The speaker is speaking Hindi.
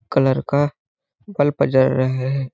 कलर का बल्ब जल रहा है।